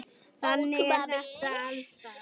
Þannig er þetta alls staðar.